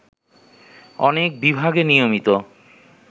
অনেক বিভাগে নিয়মিত